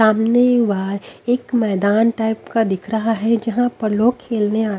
सामने वहा एक मैदान टाइप का दिख रहा है जहां पर लोग खेलने आ--